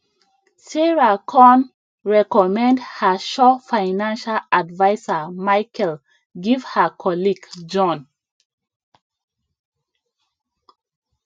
sarah conrecommend her sure financial adviser michael give her colleague john